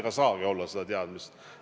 Ei saagi olla seda teadmist.